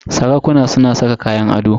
Sarakuna suna saka kayan ado.